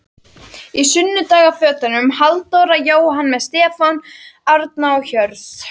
Í sunnudagafötunum- Halldóra, Jóhann með Stefán, Árna og Hörð.